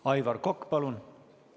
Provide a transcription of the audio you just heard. Aivar Kokk, palun!